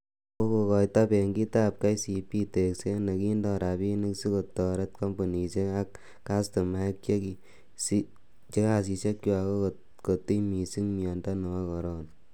Kokotoi Benkitab kcb,tekset nekindo rabinik sikotoret kompunisiek ak kastomaek che kasisiekchwak kokotiny missing miondob corona.